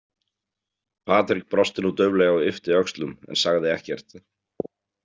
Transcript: Patrik brosti nú dauflega og yppti öxlum en sagði ekkert.